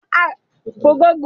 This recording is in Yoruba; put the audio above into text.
Irú ọ̀gbìn wo ni ó dára fún iresi?